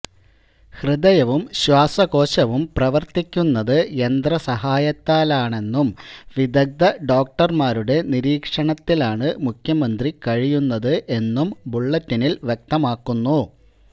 ഹൃദയവും ശ്വാസകോശവും പ്രവര്ത്തിക്കുന്നത് യന്ത്രസഹായത്താലാണെന്നും വിദഗ്ധ ഡോക്ടര്മാരുടെ നിരീക്ഷണത്തിലാണ് മുഖ്യമന്ത്രി കഴിയുന്നത് എന്നും ബുള്ളറ്റിനില് വ്യക്തമാക്കുന്നു